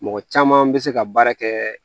Mɔgɔ caman bɛ se ka baara kɛ